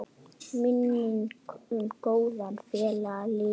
Minning um góðan félaga lifir.